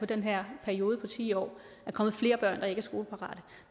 den her periode på ti år er kommet flere børn der ikke er skoleparate